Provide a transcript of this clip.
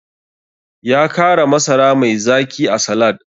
Ya kara masara mai zaki a salad.